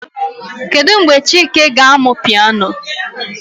Kedu mgbe chike ga-amụ piano?